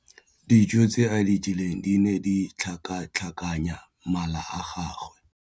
Dijô tse a di jeleng di ne di tlhakatlhakanya mala a gagwe.